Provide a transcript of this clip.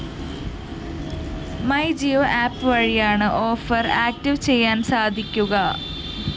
my Jio app വഴിയാണ് offer active ചെയ്യാന്‍ സാധിക്കുക